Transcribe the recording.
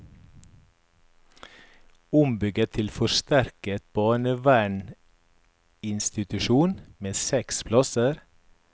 Ombygget til forsterket barneverninstitusjon med seks plasser.